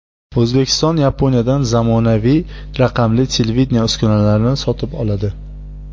O‘zbekiston Yaponiyadan zamonaviy raqamli televideniye uskunalarini sotib oladi.